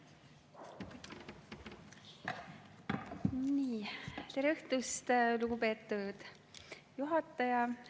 Tere õhtust, lugupeetud juhataja!